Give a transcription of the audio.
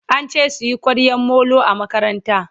ance suyi kwaryan Molo a makaranta